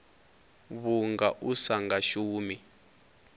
vhunga u sa nga shumi